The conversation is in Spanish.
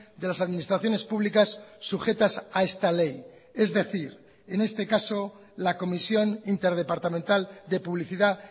de las administraciones públicas sujetas a esta ley es decir en este caso la comisión interdepartamental de publicidad